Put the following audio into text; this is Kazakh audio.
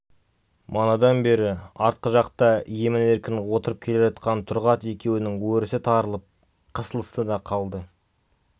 манадан бері артқы жақта емін-еркін отырып келе жатқан тұрғат екеуінің өрісі тарылып қысылысты да қалды